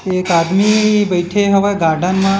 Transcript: के एक आदमी बईथे हवे गार्डन म--